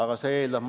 Jah võiks.